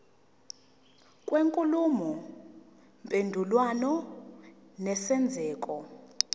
kwenkulumo mpendulwano nesenzeko